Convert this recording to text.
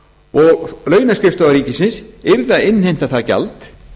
og launaskrifstofa ríkisins yrði að innheimta það gjald